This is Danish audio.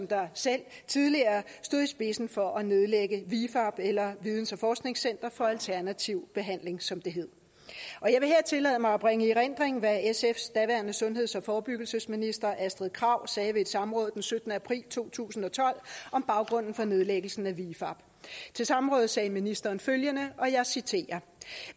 der selv tidligere stod i spidsen for at nedlægge vifab eller videns og forskningscenter for alternativ behandling som det hed jeg vil her tillade mig at bringe i erindring hvad sfs daværende sundheds og forebyggelsesminister astrid krag sagde ved et samråd den syttende april to tusind og tolv om baggrunden for nedlæggelsen af vifab til samrådet sagde ministeren følgende og jeg citerer